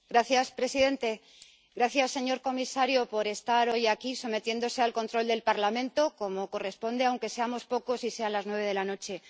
Señor presidente gracias, señor comisario, por estar hoy aquí, sometiéndose al control del Parlamento, como corresponde, aunque seamos pocos y sean las nueve de la noche.